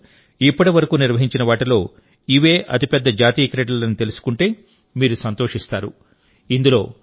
భారతదేశంలో ఇప్పటివరకు నిర్వహించిన వాటిలో ఇవే అతిపెద్ద జాతీయ క్రీడలని తెలుసుకుంటే మీరు సంతోషిస్తారు